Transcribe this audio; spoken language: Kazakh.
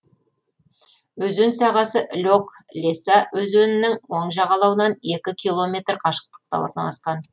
өзен сағасы лек леса өзенінің оң жағалауынан екі километр қашықтықта орналасқан